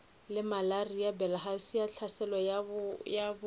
malaria bilharzia tlhaselo ya dibokwana